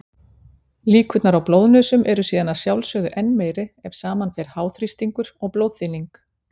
Líkurnar á blóðnösum eru síðan að sjálfsögðu enn meiri ef saman fer háþrýstingur og blóðþynning.